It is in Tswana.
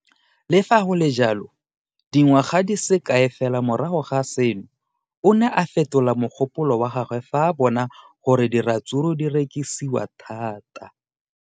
Le fa go le jalo, dingwaga di se kae fela morago ga seno, o ne a fetola mogopolo wa gagwe fa a bona gore diratsuru di rekisiwa thata.